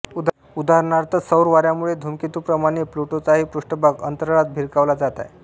उदाहरणार्थ सौरवाऱ्यामुळे धूमकेतूंप्रमाणे प्लूटोचाही पृष्ठभाग अंतराळात भिरकावला जात आहे